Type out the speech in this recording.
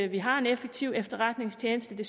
vi har en effektiv efterretningstjeneste